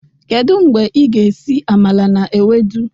Kedu mgbe ị ga-esi amala na ewedu?